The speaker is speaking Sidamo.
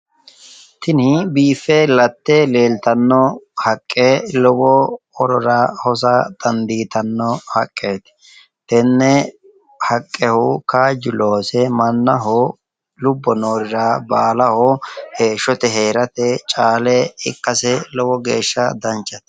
Tini biiffe latte leeltanno haqqe lowo horora Hosa dandiitanno haqqeti tenne haqqehu kaaju Loosise mannaho lubo noorira baalaho heeshote Heerate caale ikase lowo geesha danchate